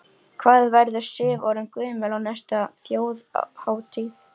Hvað verður Sif orðin gömul á næstu Þjóðhátíð?